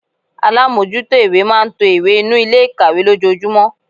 Alámójútó ìwé máa n to ìwé inú Ilé ikawe lójojúmó